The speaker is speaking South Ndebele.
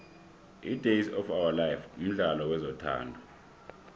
idays of ourlife mdlalo wezothando